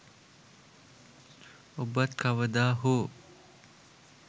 ඔබත් කවදා හෝ